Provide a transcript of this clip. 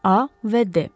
A və D.